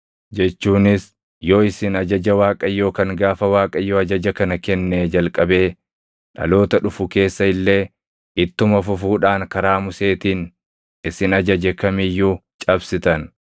jechuunis yoo isin ajaja Waaqayyoo kan gaafa Waaqayyo ajaja kana kennee jalqabee dhaloota dhufu keessa illee ittuma fufuudhaan karaa Museetiin isin ajaje kam iyyuu cabsitan,